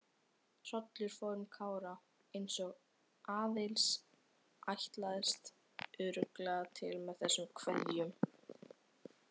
Hrollur fór um Kára, eins og Aðils ætlaðist örugglega til með þessum kveðjum.